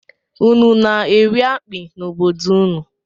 Ụnụ na-eri akpi n'obodo ụnụ?